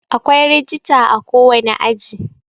akwai rijita a kowane aji